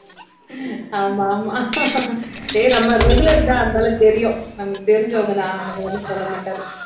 ஆமாமா ஏய் நம்ம regular தான் அதனால தெரியும் நமக்கு தெரிஞ்சவங்க தான் அதனால ஒண்ணும் சொல்லமாட்டாரு